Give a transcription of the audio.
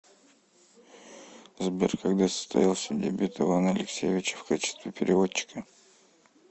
сбер когда состоялся дебют ивана алексеевича в качестве переводчика